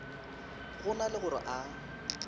go na le gore a